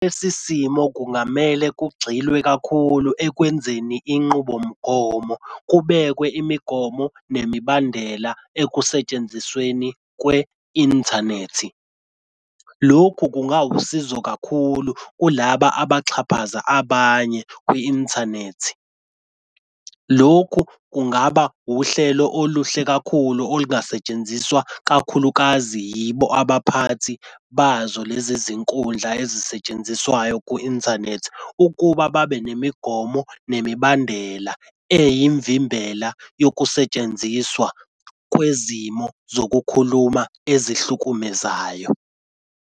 Lesi simo kungamele kugxilwe kakhulu ekwenzeni inqubomgomo, kubekwe imigomo nemibandela ekusentshenzisweni kwe-inthanethi. Lokhu kungawusizo kakhulu kulaba abaxhaphaza abanye kwi-inthanethi. Lokhu kungaba uhlelo oluhle kakhulu olungasetshenziswa kakhulukazi yibo abaphathi bazo lezi zinkundla ezisetshenziswayo ku-inthanethi ukuba babe nemigomo nemibandela eyimvimbela yokusetshenziswa kwezimo zokukhuluma ezihlukumezayo.